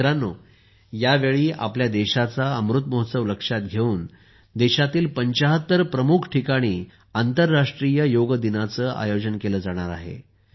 मित्रांनो यावेळी आपल्या देशाचा अमृत महोत्सव लक्षात घेऊन देशातील 75 प्रमुख ठिकाणी आंतरराष्ट्रीय योग दिनाचे आयोजन केले जाणार आहे